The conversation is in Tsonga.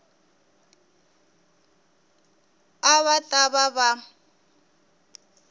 a va ta va va